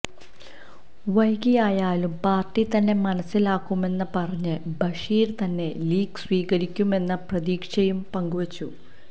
വൈകിയായാലും പാര്ട്ടി തന്നെ മനസ്സിലാക്കുമെന്ന് പറഞ്ഞ ബഷീര് തന്നെ ലീഗ് സ്വീകരിക്കുമെന്ന പ്രതീക്ഷയും പങ്കുവെച്ചു